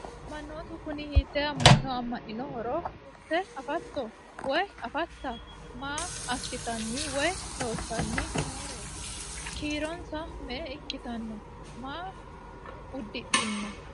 Manoottu kunni hiitte ama'no amaniinnoho ? kulitte affatto? woy affatta? maa asittanni woy loosanni nooreetti? kiironsa me'e ikkitanno? Maa udidhinno?